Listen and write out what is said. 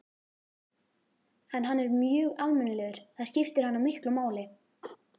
En hann er mjög almennilegur, það skiptir hana miklu máli.